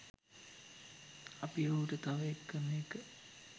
අපි ඔහුට තව එකම එක